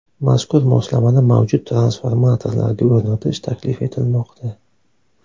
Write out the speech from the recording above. Mazkur moslamani mavjud transformatorlarga o‘rnatish taklif etilmoqda.